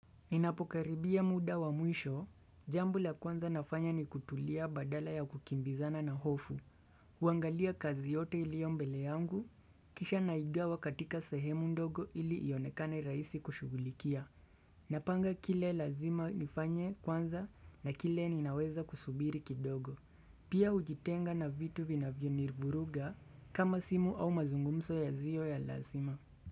Ninapokaribia muda wa mwisho, jambo la kwanza nafanya ni kutulia badala ya kukimbizana na hofu. Kuangalia kazi yote ilio mbele yangu, kisha naigawa katika sehemu ndogo ili ionekane rahisi kushugulikia Napanga kile lazima nifanye kwanza na kile ninaweza kusubiri kidogo. Pia ujitenga na vitu vinavyonivuruga kama simu au mazungumso yazio ya lasima.